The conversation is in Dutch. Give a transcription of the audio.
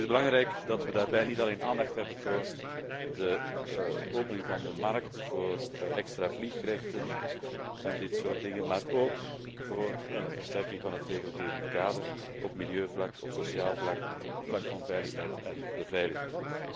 Het is belangrijk dat we daarbij niet alleen aandacht hebben voor de opening van de markt voor extra vliegrechten en dit soort dingen, maar ook voor een versterking van het regelgevend kader op milieuvlak, sociaal vlak, op het vlak van veiligheid en beveiliging.